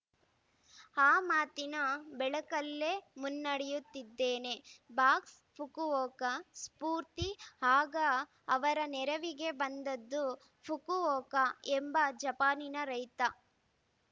ಆ ಮಾತಿನ ಬೆಳಕಲ್ಲೇ ಮುನ್ನಡೆಯುತ್ತಿದ್ದೇನೆ ಬಾಕ್ಸ್‌ ಫುಕುವೋಕ ಸ್ಫೂರ್ತಿ ಆಗ ಅವರ ನೆರವಿಗೆ ಬಂದದ್ದು ಫುಕುವೋಕ ಎಂಬ ಜಪಾನಿನ ರೈತ